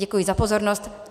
Děkuji za pozornost.